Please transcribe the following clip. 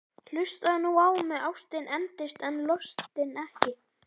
Hlustaðu nú á mig: Ástin endist en lostinn ekki!